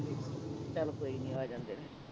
ਚੱਲ ਕੋਈ ਨਹੀਂ ਆ ਜਾਂਦੇ ਆ